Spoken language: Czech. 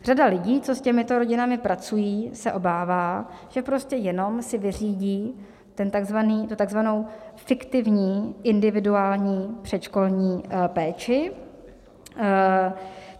Řada lidí, co s těmito rodinami pracují, se obává, že prostě jenom si vyřídí tu tzv. fiktivní individuální předškolní péči.